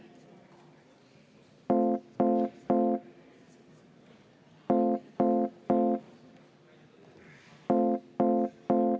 Mikrofon, palun!